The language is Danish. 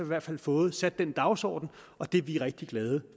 i hvert fald fået sat den dagsorden og det er vi rigtig glade